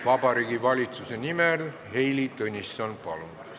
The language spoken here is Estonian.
Vabariigi Valitsuse nimel Heili Tõnisson, palun!